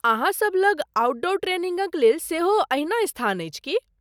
अहाँ सभ लग आउटडोर ट्रेनिंगक लेल सेहो अहिना स्थान अछि की?